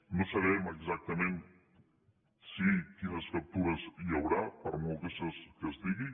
no sabem exactament quines captures hi haurà per molt que es digui